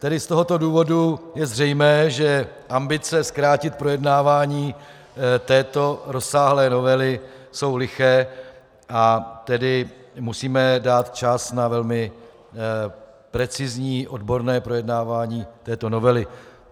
Tedy z tohoto důvodu je zřejmé, že ambice zkrátit projednávání této rozsáhlé novely jsou liché, a tedy musíme dát čas na velmi precizní odborné projednávání této novely.